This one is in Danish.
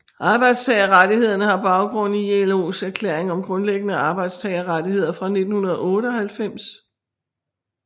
Arbejdstagerrettighederne har baggrund i ILOs Erklæring om Grundlæggende Arbejdstagerrettigheder fra 1998